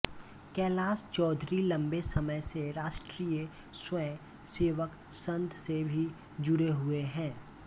कैलाश चौधरी लम्बे समय से राष्ट्रीय स्वयं सेवक संघ से भी जुड़े हुए हैं